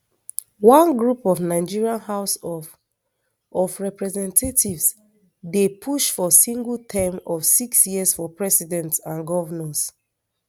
one group of nigeria house of of representatives dey push for single term of six years for presidents and govnors